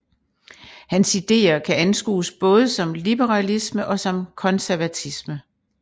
Hans ideer kan anskues både som liberalisme og som konservatisme